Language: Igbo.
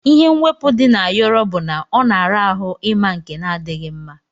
Ihe mwepu di na ayọrọ bu na ọna ara ahụ ima nke na adighi mma.